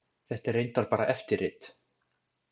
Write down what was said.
Þetta er reyndar bara eftirrit.